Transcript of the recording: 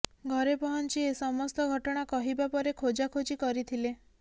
ଘରେ ପହଞ୍ଚି ଏସମସ୍ତ ଘଟଣା କହିବା ପରେ ଖୋଜା ଖୋଜି କରିଥିଲେ